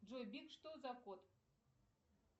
джой биг что за кот